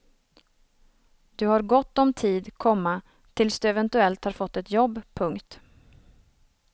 Du har gott om tid, komma tills du eventuellt har fått ett jobb. punkt